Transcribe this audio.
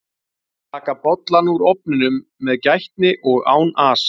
taka bollann úr ofninum með gætni og án asa